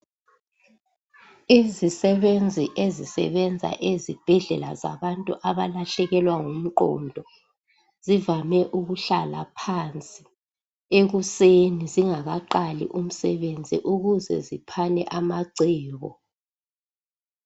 Imisebenzi ezisebenza labantu abalahlekelwa ngumqondo zivame ukuhlala phansi ekusen zingakasebenzi ukuze ziphane amacebo.